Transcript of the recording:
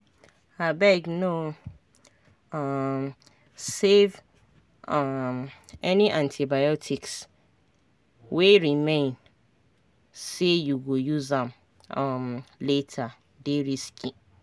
abegno um save um any antibiotics wey remain say you go use am um latere dey risky